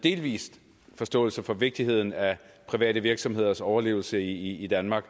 delvis forståelse for vigtigheden af private virksomheders overlevelse i danmark